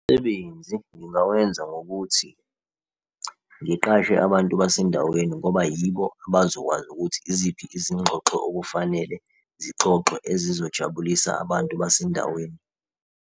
Umsebenzi ngingawenza ngokuthi ngiqashe abantu basendaweni ngoba yibo abazokwazi ukuthi iziphi izingxoxo okufanele zixoxwe ezizojabulisa abantu basendaweni.